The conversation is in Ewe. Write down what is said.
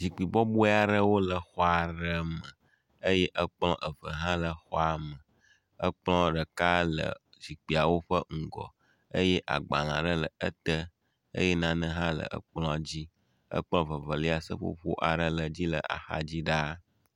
Zikpui bɔbɔe aɖewo le exɔ aɖe me eye ekplɔ eve hã le exɔa me. Ekplɔ ɖeka le zikpuiawo ƒe ŋgɔ eye agbalẽ ɖe ete eye nane hã le ekplɔ dzi. Ekplɔ vevelia seƒoƒo aɖe le edzi le axadzi ɖaa.